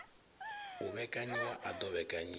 u vhekanyiwa a ḓo vhekanyiwa